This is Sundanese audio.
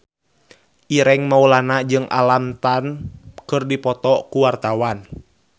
Ireng Maulana jeung Alam Tam keur dipoto ku wartawan